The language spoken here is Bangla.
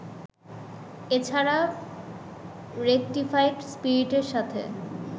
এছাড়া রেকটিফাইড স্পিরিটের সাথে